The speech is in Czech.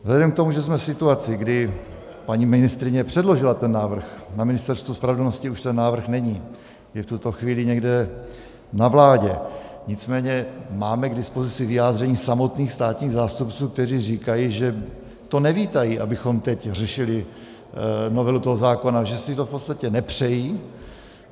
Vzhledem k tomu, že jsme v situaci, kdy paní ministryně předložila ten návrh, na Ministerstvu spravedlnosti už ten návrh není, je v tuto chvíli někde na vládě, nicméně máme k dispozici vyjádření samotných státních zástupců, kteří říkají, že to nevítají, abychom teď řešili novelu toho zákona, že si to v podstatě nepřejí.